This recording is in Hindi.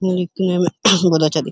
देखने में बहोत अच्छा --